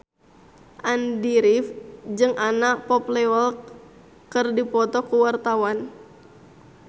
Andy rif jeung Anna Popplewell keur dipoto ku wartawan